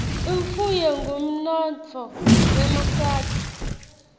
imfuyo ngumnotfo wemaswati